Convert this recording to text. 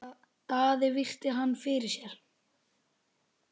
Daði virti hann fyrir sér.